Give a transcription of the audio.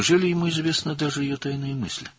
Doğrudanmı onun hətta gizli fikirləri də məlumdur?